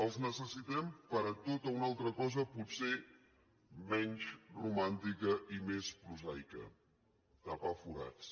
els necessitem per a tota una altra cosa potser menys romàntica i més prosaica tapar forats